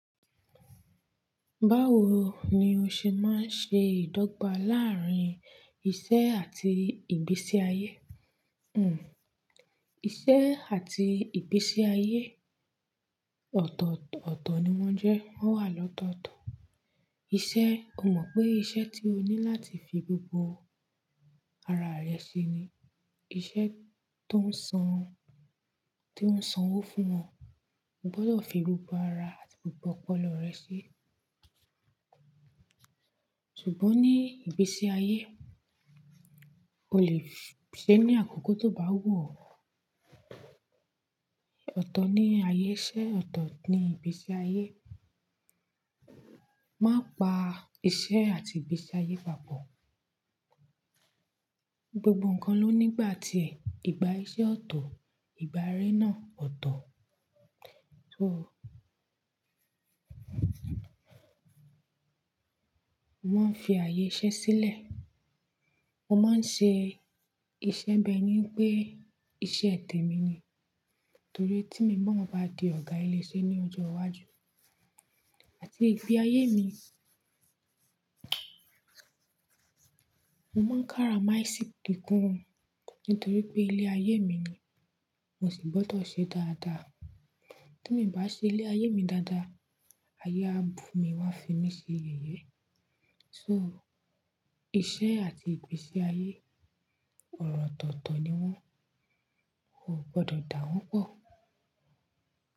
Báwo ni o ṣe máa ń ṣe ìdọ́gba láàárín iṣẹ́ àti ìgbésí ayé? Hmm. Iṣẹ́ àti ìgbésí ayé. Ọ̀tọ̀ọ̀tọ̀ ni wọ́n jẹ́. Wọ́n wà lọ́tọ̀tọ̀. Iṣẹ́, o mọ̀ pé iṣẹ́ tí o ní láti fi gbogbo ara rẹ ṣe ni. Iṣẹ́ tó ń san, tó ń sanwó fún ọ. O gbọdọ̀ fi gbogbo ara àti gbogbo ọpọlọ rẹ ṣe. Ṣùgbọ́n ní ìgbésí ayé, o lè ṣe ní àkókò tó bá wù ọ́. Ọ̀tọ̀ ni ayé iṣẹ́, ọ̀tọ̀ ni ìgbésí ayé. Má pa iṣẹ́ àti ìgbésí ayé papọ̀. Gbogbo nǹkan ló nígbà tiè ìgbà iṣẹ́ ọ̀tọ̀, ìgbà eré náà ọ̀tọ̀. So. Wọ́n fi ayé iṣẹ́ sílẹ̀. Mo máa ń ṣe iṣẹ́ bi ẹ́ní wípé iṣẹ́ tẹ̀mi ni. Torí tí mi náà bá di ọ̀gá ilé iṣẹ́ ní ọjọ́ iwájú àti ìgbé ayé mi, mo máa ń káramásìkí gan nítorí pé ilé ayé mi ni mo sì gbọdọ̀ ṣe dáadáa. Tí miì bá ṣe ilé ayé mi dáadáa, ayé à bù mi wón á fi mí ṣe yẹ̀yẹ́. So iṣẹ́ àti ìgbésí ayé ọ̀rọ̀ òtọ̀tọ̀ ni wọ́n. O ò gbọdọ̀ dà wọ́n pọ̀.